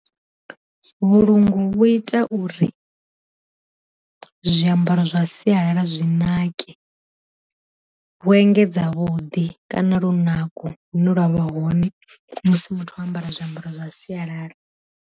Vhulungu vhu ita uri, zwiambaro zwa sialala zwi nake, vhu engedza vhuḓi kana lunako lune lwavha hone musi muthu o ambara zwiambaro zwa sialala.